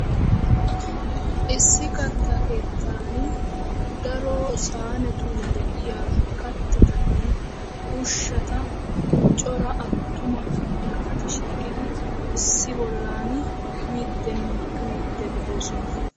issi katta keetani daro saanetuni de"iyaa kattane ushshaa daro naati miidine uyidi de"ossona.